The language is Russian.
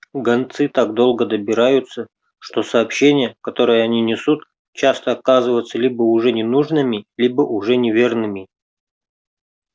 гонцы так долго добираются что сообщения которые они несут часто оказываются либо уже ненужными либо уже неверными